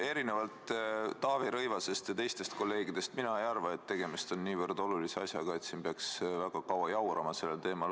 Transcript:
Erinevalt Taavi Rõivasest ja teistest kolleegidest mina ei arva, et tegemist on niivõrd olulise asjaga, mille kallal siin veel väga kaua jaurata.